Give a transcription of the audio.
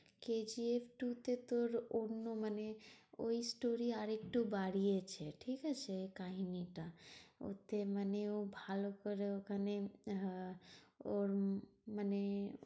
কে G F two তে তোর অন্য মানে ওই story আরেকটু বাড়িয়েছে। ঠিকাছে কাহিনীটা? ওতে মানে ও ভালো করে ওখানে আহ ওর মানে